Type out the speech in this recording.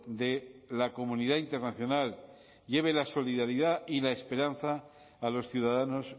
de la comunidad internacional lleve la solidaridad y la esperanza a los ciudadanos